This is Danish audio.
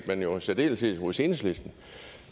men jo i særdeleshed hos enhedslisten